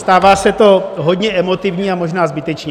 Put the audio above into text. Stává se to hodně emotivní, a možná zbytečně.